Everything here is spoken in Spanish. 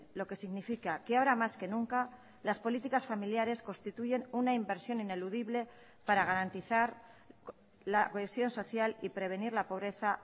lo que significa que ahora más que nunca las políticas familiares constituyen una inversión ineludible para garantizar la cohesión social y prevenir la pobreza